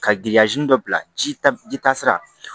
Ka giriya ji dɔ bila ji ta ji taasira